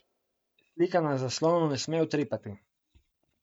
Slika na zaslonu ne sme utripati.